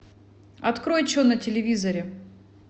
открой че на телевизоре